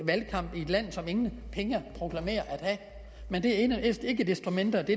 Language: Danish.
valgkamp i et land som proklamerer ingen penge at have men det er ikke desto mindre det